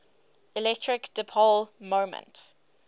electric dipole moment